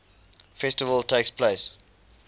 festival takes place